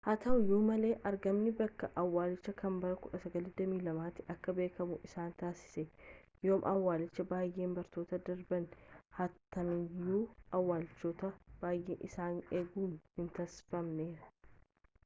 haa ta'uuyyu malee argamni bakka awwaalchaa kana bara 1922 tti akka beekamuu isa taasisee yooma awwalchii baayeen barootaa darbanii haatamaniyyu awwalchootni baayeen isaani eegannon hin taasifamneef